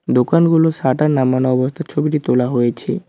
দোকানগুলোর শাটার নামানো অবস্থায় ছবিটি তোলা হয়েছে।